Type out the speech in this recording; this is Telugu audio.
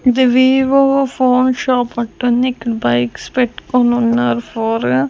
ది వివో ఫోన్ షాప్ పక్కనే ఇక్కడ బైక్స్ పెట్టుకోనన్నారు ఫోర్ గా.